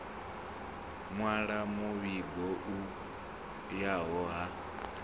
nwala muvhigo u yaho ha